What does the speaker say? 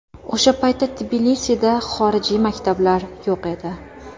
O‘sha paytda Tbilisida xorijiy maktablar yo‘q edi.